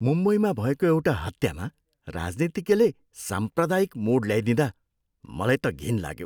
मुम्बईमा भएको एउटा हत्यामा राजनीतिज्ञले साम्प्रदायिक मोड ल्याइदिँदा मलाई त घिन लाग्यो।